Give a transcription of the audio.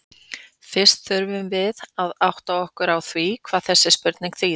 Fyrst þurfum við að átta okkur á því hvað þessi spurning þýðir.